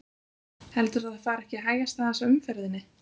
Heldurðu að það fari ekki að hægjast aðeins á umferðinni?